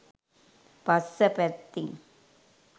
පස්ස පැත්තෙන්.